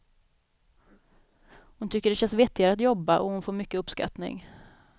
Hon tycker det känns vettigare att jobba, och hon får mycket uppskattning.